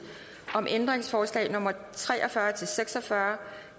om ændringsforslag nummer tre og fyrre til seks og fyrre